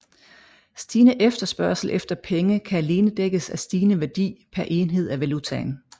Stigende efterspørgsel efter penge kan alene dækkes af stigende værdi per enhed af valutaen